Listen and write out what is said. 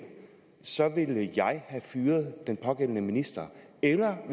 så ville have fyret den pågældende minister eller at